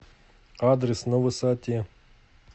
адрес на высоте